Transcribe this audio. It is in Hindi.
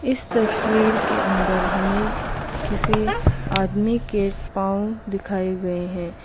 इस तस्वीर के अंदर हमें किसी आदमी के पांव दिखाए गए हैं।